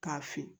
K'a fin